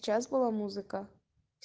сейчас была музыка